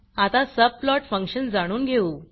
आता subplot function जाणून घेऊ